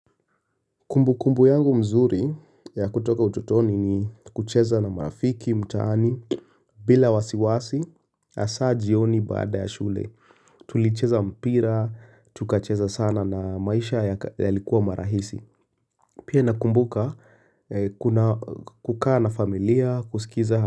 Kumbu kumbu yangu mzuri ya kutoka ututoni ni kucheza na marafiki mtaani bila wasiwasi hasaa jioni baada ya shule tulicheza mpira tukacheza sana na maisha yalikuwa marahisi pia nakumbuka kukaa na familia kusikiza.